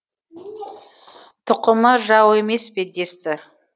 тұқымы жау емес пе десті